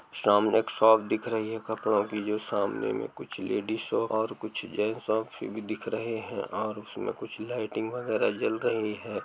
सामने एक शॉप दिख रही है कपड़ों की जो सामने में कुछ लेडिस शाॅप हो और कुछ जेंट्स शाॅप भी दिख रहे हैं और उसमें कुछ लाइटिंग वगैरह जल रही है।